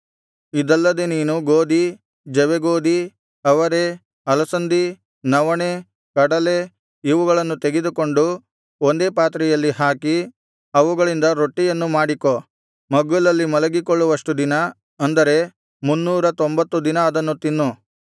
ಇದಲ್ಲದೆ ನೀನು ಗೋದಿ ಜವೆಗೋದಿ ಅವರೆ ಅಲಸಂದಿ ನವಣೆ ಕಡಲೆ ಇವುಗಳನ್ನು ತೆಗೆದುಕೊಂಡು ಒಂದೇ ಪಾತ್ರೆಯಲ್ಲಿ ಹಾಕಿ ಅವುಗಳಿಂದ ರೊಟ್ಟಿಯನ್ನು ಮಾಡಿಕೋ ಮಗ್ಗುಲಲ್ಲಿ ಮಲಗಿಕೊಳ್ಳುವಷ್ಟು ದಿನ ಅಂದರೆ ಮುನ್ನೂರತೊಂಬತ್ತು ದಿನ ಅದನ್ನು ತಿನ್ನು